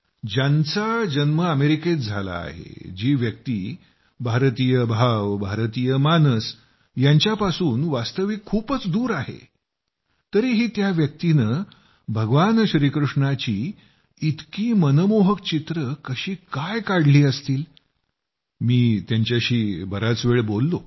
ज्यांच्या जन्म अमेरिकेत झाला आहे जी व्यक्ती भारतीय भाव भारतीय मानस यांच्यापासून वास्तविक खूपच दूर आहे तरीही त्या व्यक्तीनं भगवान श्रीकृष्णाची इतकी मनमोहक चित्र कशी काय बनवली असतील मी त्यांच्याशी बराच वेळ बोललो